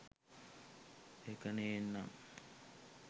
ඒක නේන්නං